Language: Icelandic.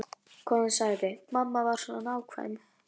Konan sagði: Mamma var svo nákvæm.